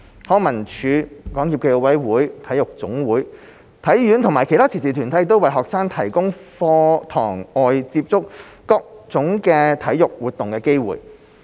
康文署、港協暨奧委會、體育總會、體院及其他慈善團體為學生提供在課堂外接觸各種體育活動的機會。